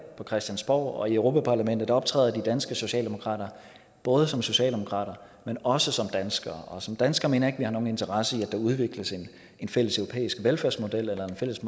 på christiansborg og i europa parlamentet optræder de danske socialdemokrater både som socialdemokrater men også som danskere og som dansker mener jeg ikke at vi har nogen interesse i at der udvikles en fælles europæisk velfærdsmodel eller en fælles